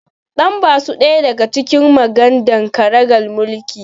Dan ba su ɗaya daga cikin magadan ƙaragar mulki